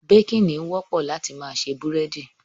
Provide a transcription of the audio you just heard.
Baking, ni wọ́pọ̀ láti ma se búrẹ́dí